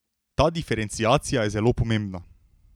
Ta diferenciacija je zelo pomembna.